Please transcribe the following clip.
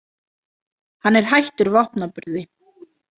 Hann er hættur vopnaburði.